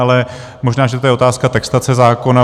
Ale možná, že je to otázka textace zákona.